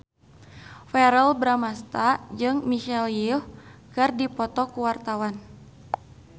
Verrell Bramastra jeung Michelle Yeoh keur dipoto ku wartawan